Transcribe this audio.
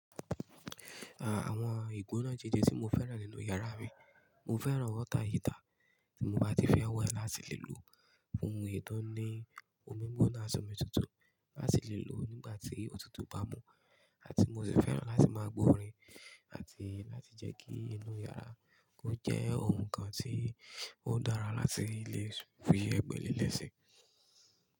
Àwọn ìgbóná jeje tí mo fẹ́ràn nínú yàrá mi, mo fẹ́ràn water heater tí mo bá ti fẹ́ wẹ̀ láti lè lò fún ohun ètò ní omi gbóná ati omi tutù láti lè lò nígbà tí òtútù bá mú àti mo sì fẹ́ràn láti máa gbọ́rin àti láti jẹ́ kí inú yàrá kò jẹ́ ohun kan tí ó dára láti lè fi ẹgbẹ́ lẹ́le si.